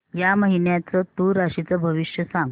या महिन्याचं तूळ राशीचं भविष्य सांग